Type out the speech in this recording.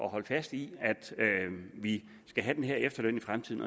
at holde fast i at vi skal have den her efterløn i fremtiden